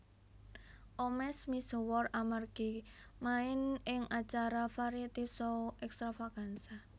Omesh misuwur amargi main ing acara variety show Extravaganza